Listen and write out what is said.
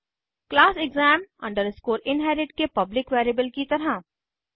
class exam inherit के public variable की तरह